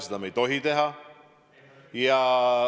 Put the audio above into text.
Seda me ei tohi teha.